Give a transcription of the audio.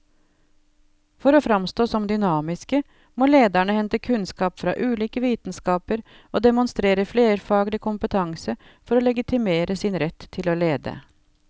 For å framstå som dynamiske må lederne hente kunnskap fra ulike vitenskaper og demonstrere flerfaglig kompetanse for å legitimere sin rett til å lede.